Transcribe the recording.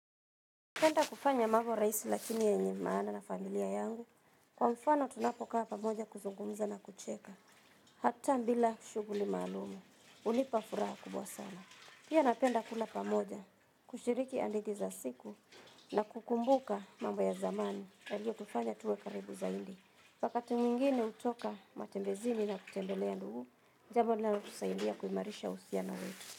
Napenda kufanya mabo raisi lakini yenye maana na familia yangu, kwa mfano tunapokaa pamoja kuzungumza na kucheka, hata mbila shughuli maalumu, unipa furaha kubwa sana. Pia napenda kula pamoja, kushiriki andithi za siku, na kukumbuka mambo ya zamani, yaliyotufanya tuwe karibu zaindi. Wakati mwingine utoka matembezini na kutembelea ndungu, jabo linalotusaidia kuimarisha usiano wetu.